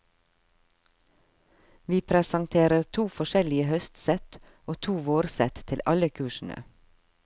Vi presenterer to forskjellige høstsett og to vårsett til alle kursene.